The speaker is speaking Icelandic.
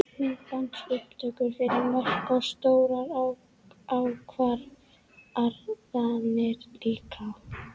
Myndbandsupptökur fyrir mörk og stórar ákvarðanir líka?